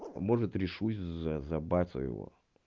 может решусь за сделаю